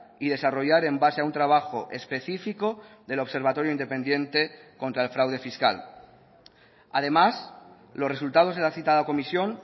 y desarrollar en base a un trabajo especifico del observatorio independiente contra el fraude fiscal además los resultados de la citada comisión